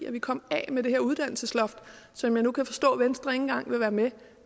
at vi kommer af med det her uddannelsesloft som jeg nu kan forstå venstre ikke engang vil være med